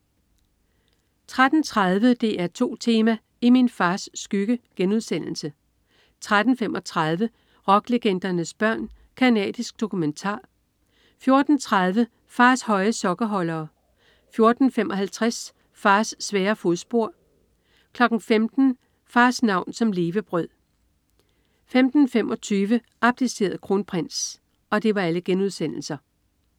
13.30 DR2 Tema: I min fars skygge* 13.35 Rocklegendernes børn. Canadisk dokumentar* 14.30 Fars høje sokkeholdere* 14.55 Fars svære fodspor* 15.00 Fars navn som levebrød* 15.25 Abdiceret kronprins*